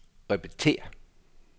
repetér